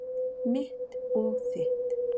Mitt og þitt.